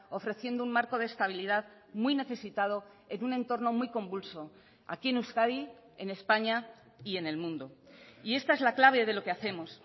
ofreciendo un marco de estabilidad muy necesitado en un entorno muy convulso aquí en euskadi en españa y en el mundo y esta es la clave de lo que hacemos